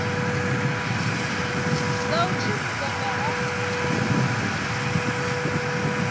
dza u tsivhudza nga ha